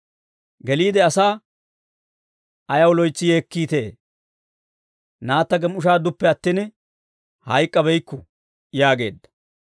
Geliide asaa, «Ayaw loytsi yeekkiitee? Naatta gem"ishshaadduppe attin, hayk'k'abeykku» yaageedda.